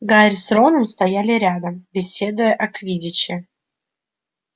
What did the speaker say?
гарри с роном стояли рядом беседуя о квиддиче